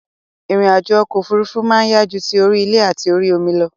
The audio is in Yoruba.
Ìrìn àjò okò òfurufú ma n yá ju ti orí ilè àti orí omi lo